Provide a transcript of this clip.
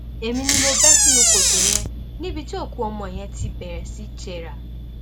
èmi ni mo bẹ sínú kòtò yẹn níbi tí òkú ọmọ yẹn ti bẹrẹ sí í jẹrà